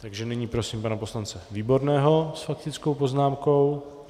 Takže nyní prosím pana poslance Výborného s faktickou poznámkou.